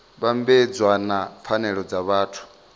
vhambedzwa na pfanelo dza vhathu